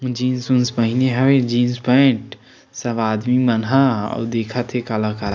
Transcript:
jeans उन्स पहिने हवे जीन्स पेंट सब आदमी मन ह अउ देखत हे काला-काला--